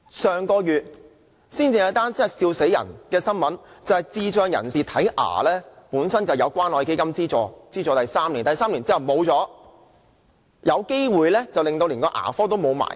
上個月有一宗笑壞人的新聞，便是智障人士本來有關愛基金資助3年接受牙科服務，但第三年過後便沒有，更有可能連那牙科診所也要關閉。